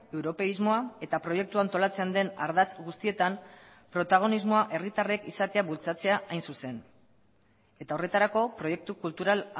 europeismoa eta proiektua antolatzen den ardatz guztietan protagonismoa herritarrek izatea bultzatzea hain zuzen eta horretarako proiektu kultural